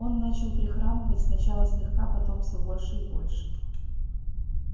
он начал прихрамывать сначала слегка потом всё больше и больше